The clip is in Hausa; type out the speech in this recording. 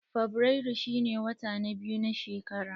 Fabrairu shine wata na biyu na shekara.